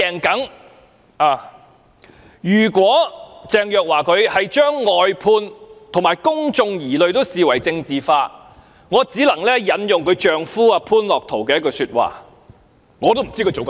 倘若鄭若驊把"外判"和釋除公眾疑慮也視為政治化，我只得引用她的丈夫潘樂陶的一句話："我不知她在做甚麼"。